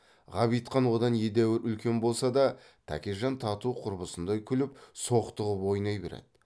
ғабитхан одан едәуір үлкен болса да тәкежан тату құрбысындай күліп соқтығып ойнай береді